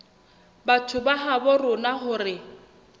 batho ba habo rona hore